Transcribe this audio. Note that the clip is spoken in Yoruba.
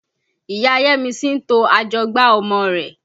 Ìya Yẹ́misí ń to ajọgbá ọmọ rẹ̀.